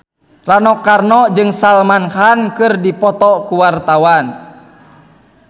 Rano Karno jeung Salman Khan keur dipoto ku wartawan